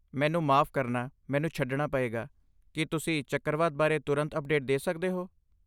ਮੈਨੂੰ ਮਾਫ਼ ਕਰਨਾ, ਮੈਨੂੰ ਛੱਡਣਾ ਪਏਗਾ, ਕੀ ਤੁਸੀਂ ਚੱਕਰਵਾਤ ਬਾਰੇ ਤੁਰੰਤ ਅਪਡੇਟ ਦੇ ਸਕਦੇ ਹੋ?